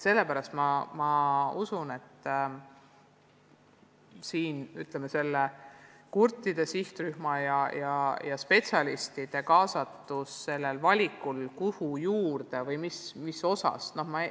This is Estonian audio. Sellepärast ma usun, et otstarbekam oleks kaasata kurtide sihtrühma ja teisi kompetentseid inimesi, tegemaks valikut, mis erialaga see õpe liita.